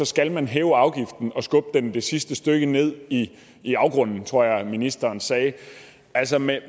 skal man hæve afgiften og skubbe virksomheden det sidste stykke ned i i afgrunden tror jeg ministeren sagde altså med